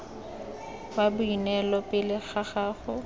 wa boineelo pele ga gago